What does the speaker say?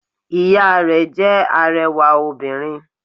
Ìya rẹ̀ jẹ́ arẹwà obìnrin